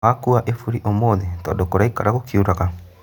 Nĩwakua iburi ũmũthĩ tondũ kũraikara gũkiuraga?